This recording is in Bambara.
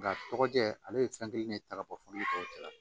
Nka tɔgɔ jɛ ale ye fɛn kelen de ye ta ka bɔ fɔ ni tɔw cɛ la